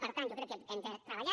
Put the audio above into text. per tant jo crec que hem de treballar